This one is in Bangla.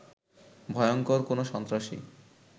ভয়ংকর কোনো সন্ত্রাসী